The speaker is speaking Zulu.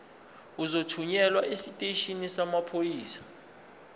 uzothunyelwa esiteshini samaphoyisa